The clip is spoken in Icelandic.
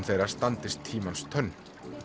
þeirra standist tímans tönn